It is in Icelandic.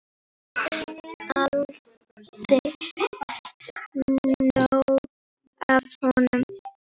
Fékkst aldrei nóg af honum.